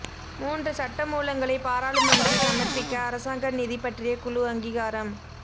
மூன்று சட்டமூலங்களை பாராளுமன்றில் சமர்ப்பிக்க அரசாங்க நிதி பற்றிய குழு அங்கீகாரம்